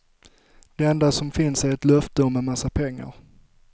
Det enda som finns är ett löfte om en massa pengar.